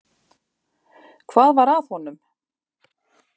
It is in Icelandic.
Hvað var að honum?